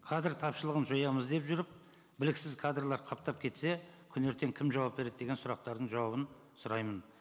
кадр тапшылығын жоямыз деп жүріп біліксіз кадрлар қаптап кетсе күні ертең кім жауап береді деген сұрақтардың жауабын сұраймын